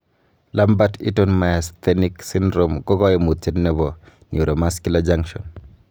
Lambert Eaton myasthenic syndrome ko koimutiet nebo neuromuscular junction.